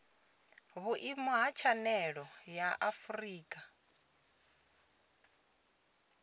vhuimo ha tshanele ya afurika